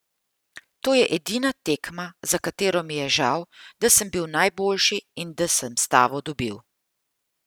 To je edina tekma, za katero mi je žal, da sem bil najboljši in da sem stavo dobil.